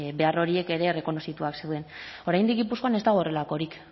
behar horiek ere errekonozituak zeuden oraindik gipuzkoan ez dago horrelakorik